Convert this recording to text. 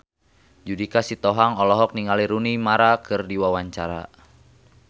Judika Sitohang olohok ningali Rooney Mara keur diwawancara